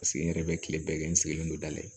Paseke n yɛrɛ bɛ kile bɛɛ kɛ n sigilen don da la ye